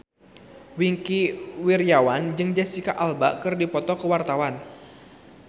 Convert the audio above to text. Wingky Wiryawan jeung Jesicca Alba keur dipoto ku wartawan